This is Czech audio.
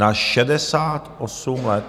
Na šedesát osm let!